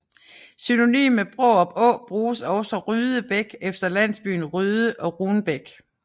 Synonym med Brarup Å bruges også Ryde Bæk efter landsbyen Ryde og Runbæk